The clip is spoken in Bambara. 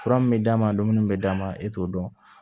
Fura min bɛ d'a ma dumuni bɛ d'a ma e t'o dɔn